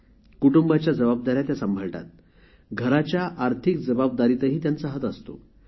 कुटुंबाची जबाबदारी ती सांभाळते घराच्या आर्थिक जबाबदारीतही तिचा हात असतो